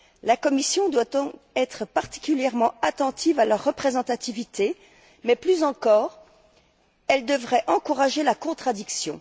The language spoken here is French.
La Commission doit donc être particulièrement attentive à leur représentativité, mais plus encore, elle devrait encourager la contradiction.